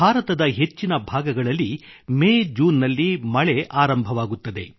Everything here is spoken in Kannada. ಭಾರತದ ಹೆಚ್ಚಿನ ಭಾಗಗಳಲ್ಲಿ ಮೇಜೂನ್ ನಲ್ಲಿ ಮಳೆ ಆರಂಭವಾಗುತ್ತದೆ